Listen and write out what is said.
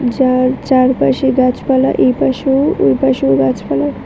যার চারপাশে গাছপালা এপাশেও ওপাশেও গাছপালা।